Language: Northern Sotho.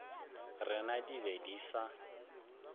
rena di be di sa